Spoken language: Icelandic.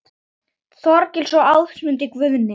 Þorgils og Ámundi Guðni.